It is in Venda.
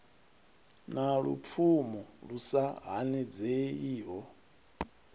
na lupfumo lu sa hanedzeiho